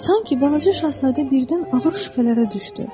Sanki balaca şahzadə birdən ağır şübhələrə düşdü.